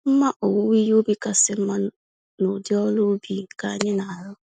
Mma owuwe ihe ubi kachasị mma n'ụdị ọrụ ubi nke anyị narụ.